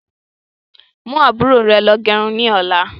Mú àbúrò rẹ lọ gẹrun ni ọ̀la.